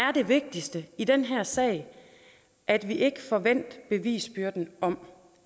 er det vigtigste i den her sag at vi ikke får vendt bevisbyrden om